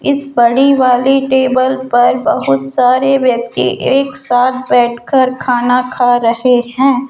इस बड़ी वाली टेबल पर बहुत सारे व्यक्ति एक साथ बैठकर खाना खा रहे है।